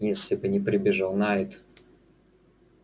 если бы не прибежал найд